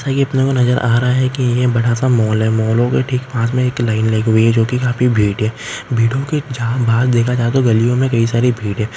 यह अपने को नजर आ रहा है बड़ा सा मॉल है मोल के पास ठीक काफी भीड़ लगी हुई है भीड़ो की आर पार गलियों में भिड़--